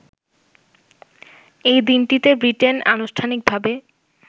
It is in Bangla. এই দিনটিতে ব্রিটেন আনুষ্ঠানিকভাবে